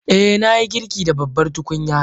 Eh, na yi girki da babbar tukunya.